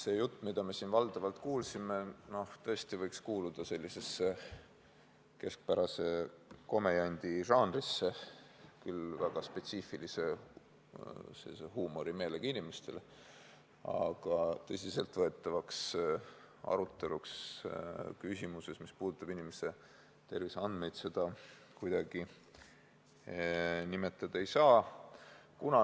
See jutt, mida me siin valdavalt kuulsime, võiks tõesti kuuluda keskpärase komejandi žanrisse, mõeldud küll väga spetsiifilise huumorimeelega inimestele, aga tõsiselt võetavaks aruteluks küsimuses, mis puudutab inimeste terviseandmeid, seda kuidagi nimetada ei saa.